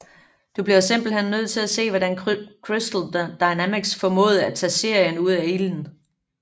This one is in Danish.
Du bliver simpelthen nødt til at se hvordan Crystal Dynamics formåede at tage serien ud af ilden